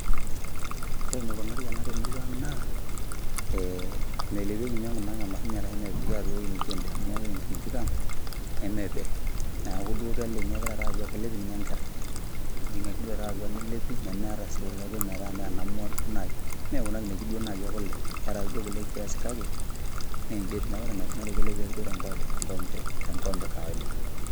Ore enikunari ena temurua ang naa, eh melepieki nye nkunaang' emashini arashu mepiki atua ewoi nijo ende amu ore nkinejik ang', nemepe. Neeku duo keleng'i ake taata atua kelep ninye enkerai. Kejing'i ake duo taata atua nelepi nemeeta si kulo kin metaa menamua nai. Mekuna kinejik duo nai ekule, keeta ake duo kule kiasi kake, meji etiu. Neeku ore enaikunari kelepi ake duo tenkoompe kawaida.